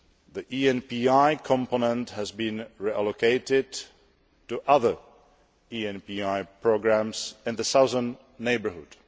The ENPI component has been reallocated to other ENPI programmes in the Southern Neighbourhood.